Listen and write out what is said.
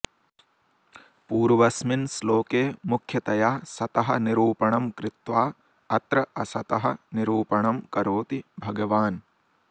पूर्वस्मिन् श्लोके मुख्यतया सतः निरूपणं कृत्वा अत्र असतः निरूपणं करोति भगवान्